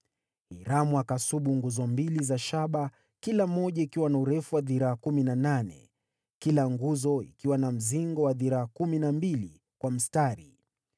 Hiramu akasubu nguzo mbili za shaba, kila moja ikiwa na urefu wa dhiraa kumi na nane, kila nguzo ikiwa na mzingo wa dhiraa kumi na mbili kwa mstari.